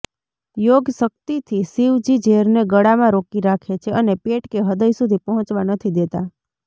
યોગશક્તિથી શિવજી ઝેરને ગળામાં રોકી રાખે છે અને પેટ કે હૃદય સુધી પહોંચવા નથી દેતા